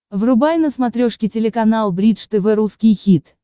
врубай на смотрешке телеканал бридж тв русский хит